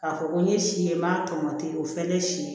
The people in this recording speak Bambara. K'a fɔ ko n ye si ye n m'a tɔmɔ ten o fɛnɛ si ye